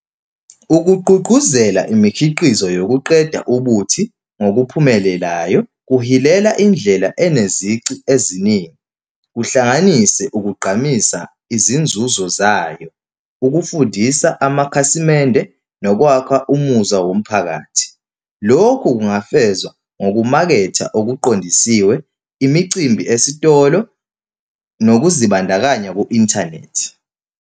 Ukugqugquzela imikhiqizo yokuqeda ubuthi ngokuphumelelayo kuhilela indlela enezici eziningi, kuhlanganise ukugqamisa izinzuzo zayo, ukufundisa amakhasimende nokwakha umuzwa womphakathi. Lokhu kungafezwa ngokumaketha okuqandisiwe, imicimbi esitolo nokuzibandakanya ku-inthanethi.